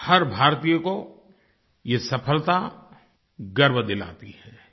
हर भारतीय को ये सफ़लता गर्व दिलाती है